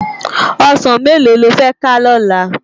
Òsán méló ló fè ká lòlá?